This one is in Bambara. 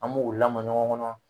An m'o lamɔ ɲɔgɔn kɔnɔ